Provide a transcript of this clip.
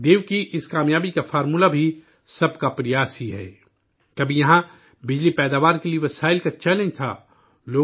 دیو کی اس کامیابی کا منتر بھی سب کی کوشش ہی ہے کبھی یہاں بجلی کی پیداوار کے لیے وسائل کی چنوتی تھی